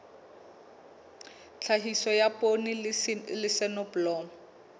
tlhahiso ya poone le soneblomo